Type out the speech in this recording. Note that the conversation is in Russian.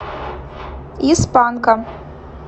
из панка